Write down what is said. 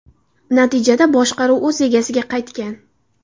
Natijada boshqaruv o‘z egasiga qaytgan.